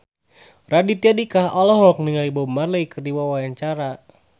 Raditya Dika olohok ningali Bob Marley keur diwawancara